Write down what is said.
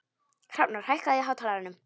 Hrafnar, hækkaðu í hátalaranum.